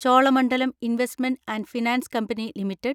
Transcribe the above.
Cholamandalam investment and finance company limited